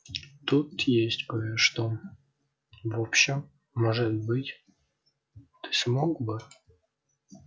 тут есть кое-что в общем может быть ты смог бы